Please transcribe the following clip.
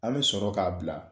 An bɛ sɔrɔ k'a bila